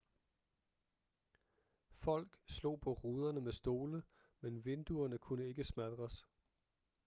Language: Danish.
folk slog på ruderne med stole men vinduerne kunne ikke smadres